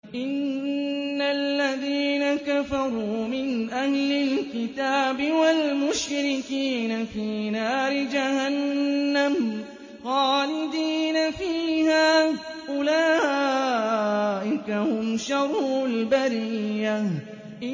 إِنَّ الَّذِينَ كَفَرُوا مِنْ أَهْلِ الْكِتَابِ وَالْمُشْرِكِينَ فِي نَارِ جَهَنَّمَ خَالِدِينَ فِيهَا ۚ أُولَٰئِكَ هُمْ شَرُّ الْبَرِيَّةِ